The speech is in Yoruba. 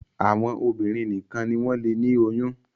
àwọn obìnrin nìkàn ní wón lè ní oyún